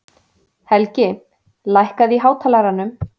Helgi, lækkaðu í hátalaranum.